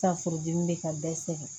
San furudimi be ka bɛɛ sɛgɛn